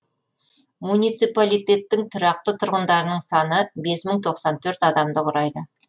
муниципалитеттің тұрақты тұрғындарының саны бес мың тоқсан төрт адамды құрайды